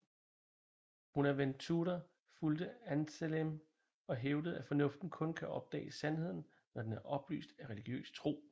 Bonaventura fulgte Anselm og hævdede at fornuften kun kan opdage sandheden når den er oplyst af religiøs tro